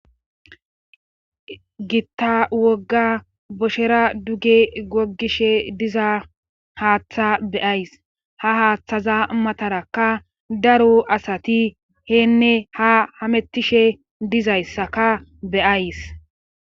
Gitta wogga boshera duge gogishe diza haaththa beyays ha haaththaza matarakka daro asati heenne ha hamettishe dizayssaka beyays.